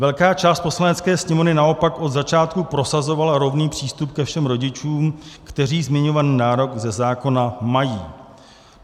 Velká část Poslanecké sněmovny naopak od začátku prosazovala rovný přístup ke všem rodičům, kteří zmiňovaný nárok ze zákona mají.